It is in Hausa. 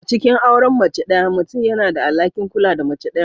A cikin auren mace ɗaya, mutum yana da alhakin kula da mace ɗayan.